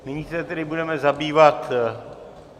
Nyní se tedy budeme zabývat...